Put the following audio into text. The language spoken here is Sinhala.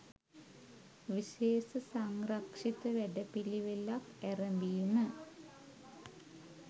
විශේෂ සංරක්ෂිත වැඩපිළිවෙළක් ඇරැඹීම